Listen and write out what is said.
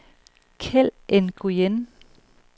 Keld Nguyen